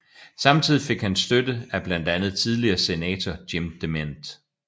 Samtidig fik han støtte af blandt andet tidligere senator Jim DeMint